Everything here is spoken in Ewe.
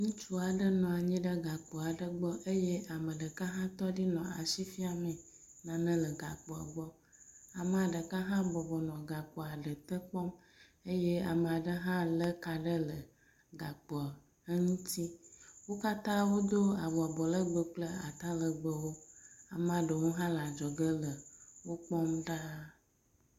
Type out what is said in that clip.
Ŋutsu aɖe nu anyi ɖe gakpo aɖe gbɔ ye ame ɖeka tɔ ɖe egbɔ nɔ asi fiam nane le gakpoa gbɔ. Amea ɖeka hã bɔbɔ nɔ gakpoa ɖe te kpɔm eye ame aɖe hã lé ka aɖe le gakpoa eŋuti. Wo katã wodo awu abɔlegbẽ kple atalegbẽwo. Amea ɖewo hã le adzɔge le wo kpɔm ɖa.